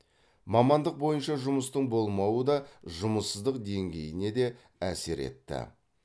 мамандық бойынша жұмыстың болмауы да жұмыссыздық деңгейіне де әсер етті